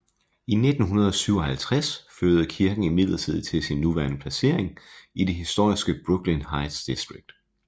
I 1957 flyttede kirken imidlertid til sin nuværende placering i det historiske Brooklyn Heights distrikt